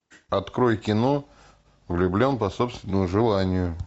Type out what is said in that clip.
открой кино влюблен по собственному желанию